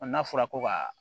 n'a fɔra ko ka